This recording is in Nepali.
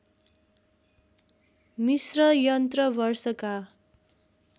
मिस्र यन्त्र वर्षका